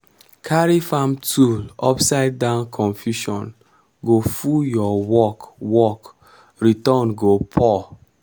carry farm tool upside down confusion go full your work work return go poor.